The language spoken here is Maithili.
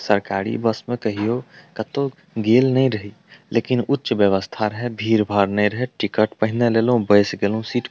सरकारी बस में कहियो कतो गेल ने रही लेकिन उच्च व्यवस्था रहे भीड़-भाड़ नए रहे टिकट पहिने लेलौ बस गेलौ सीट --